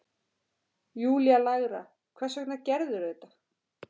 Júlía lægra: Hvers vegna gerðirðu þetta?